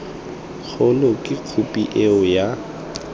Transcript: kgolo ke khophi eo ya